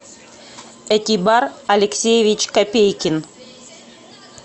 экибар алексеевич копейкин